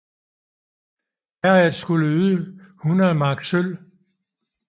Herredet skulle yde 100 mark sølv